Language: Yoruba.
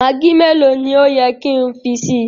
Maggi mẹ̀lọ̀ ni o yẹ ki n fi sí?